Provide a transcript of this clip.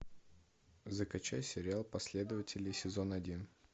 закачай сериал последователи сезон один